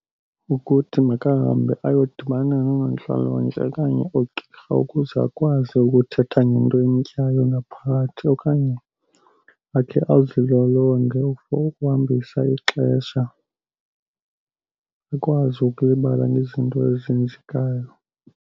Ukuthi makahambe ayodibana noonontlalontle okanye oogqirha ukuze akwazi ukuthetha ngento emtyayo ngaphakathi. Okanye akhe azilolonge for ukuhambisa ixesha, akwazi ukulibala ngezinto ezenzekayo.